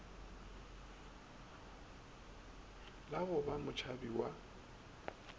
la go ba motšhabi wa